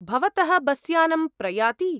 भवतः बस् यानं प्रयाति ?